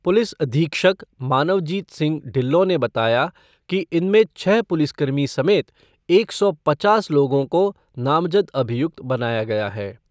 Police अधीक्षक मानवजीत सिंह ढिल्लो ने बताया कि इनमें छह पुलिसकर्मी समेत एक सौ पचास लोगों को नामजद अभियुक्त बनाया गया है।